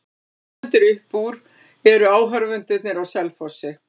En það sem stendur mest upp úr eru áhorfendurnir á Selfossi.